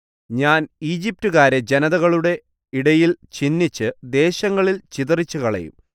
ഞാൻ ഈജിപ്റ്റുകാരെ ജനതകളുടെ ഇടയിൽ ഛിന്നിച്ച് ദേശങ്ങളിൽ ചിതറിച്ചുകളയും